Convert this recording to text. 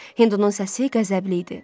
Hindunun səsi qəzəbli idi.